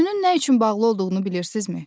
Gözünün nə üçün bağlı olduğunu bilirsizimi?